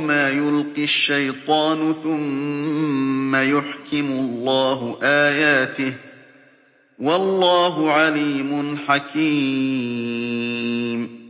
مَا يُلْقِي الشَّيْطَانُ ثُمَّ يُحْكِمُ اللَّهُ آيَاتِهِ ۗ وَاللَّهُ عَلِيمٌ حَكِيمٌ